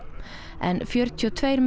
en fjörutíu og tveir menn